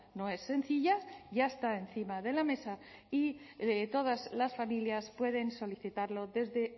no es sencilla ya está encima de la mesa y todas las familias pueden solicitarlo desde